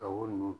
Ka wo ninnu